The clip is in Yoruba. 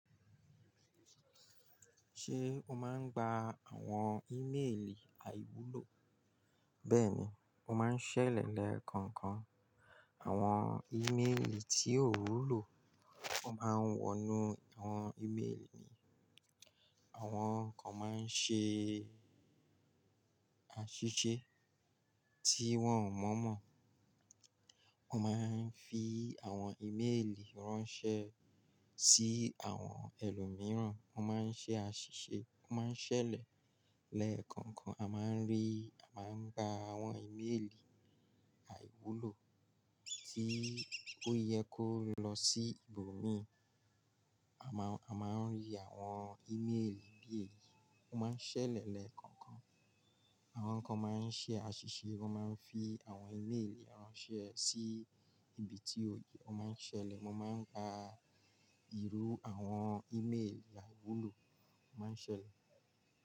Ṣé o máa ń gba àwọn ímélì àìwúlò? Bẹ́ẹ̀ni, mo máa ń ṣẹlẹ̀ lẹ́ẹ̀kọ̀ọ̀kan. Àwọn ímélì tí ò wúlò, o máa ń wọnú àwọn ímélì mi. Àwọn kan máa ń ṣe àṣìṣe tí wọ́n ò mọ mọ̀. Wọ́n máa ń fi àwọn ímélì ránṣẹ́ sí àwọn ẹlòmíràn, wọ́n máa ń ṣe àṣìṣe, wọ́n máa ń ṣẹlẹ̀ lẹ́ẹ̀kọ̀ọ̀kan. A máa ń rí, a máa ń gba àwọn ímélì àìwúlò tí ó yẹ kó lọ sí ibòmíràn. A máa ń rí àwọn ímélì bí èyí, wọ́n máa ń ṣẹlẹ̀ lẹ́ẹ̀kọ̀ọ̀kan. Àwọn kan máa ń ṣe àṣìṣe, wọ́n máa ń fi àwọn ímélì ránṣẹ́ sí ibi tí ó yẹ, wọ́n máa ń ṣẹlẹ̀. Mo máa ń gba ìrú àwọn ímélì àìwúlò, wọ́n máa ń ṣẹlẹ̀.